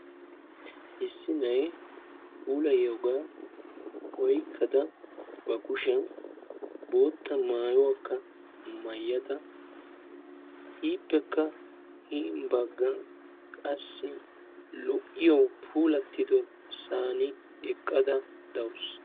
Issi na'iyaa puulayiyooga oyqqada ba kushiyaan bootta maayuwakka maayyada hin baggan qassi lo"iyo puulatiyosa eqqada dawus.